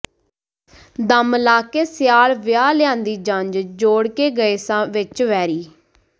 ਦਮ ਲਾਇਕੇ ਸਿਆਲ ਵਿਆਹ ਲਿਆਂਦੀ ਜੰਜ ਜੋੜ ਕੇ ਗਏ ਸਾਂ ਵਿੱਚ ਵੈਰੀਂ